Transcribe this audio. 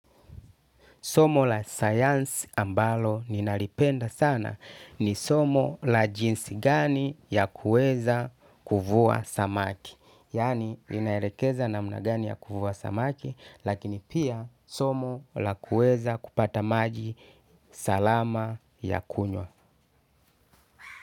Somo la sayansi ambalo ninalipenda sana ni somo la jinsi gani ya kuweza kuvua samaki. Yaani inaelekeza namna gani ya kuvua samaki lakini pia somo la kuweza kupata maji salama ya kunwa.